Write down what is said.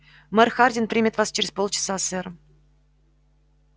мэр хардин примет вас через полчаса сэр